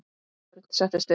Örn settist upp.